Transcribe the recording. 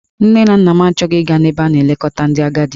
Nne na nna m achọghị ịga n'ebe a na-elekọta ndị agadi.